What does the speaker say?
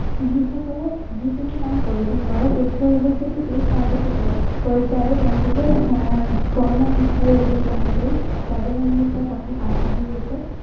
যি সকলে যি কোনো কাম কৰিব নোৱাৰে, সেই সকলৰ ঘৰত যদি এই চাহখেতি কৰে, কৰিছে, আৰু তেওঁলোকে আহ এৰ কৰ্ম নিষ্ঠাৰে এইবোৰ কাম কৰি স্বাৱলম্বিতাৰ পথত আগবাঢ়ি গৈছে।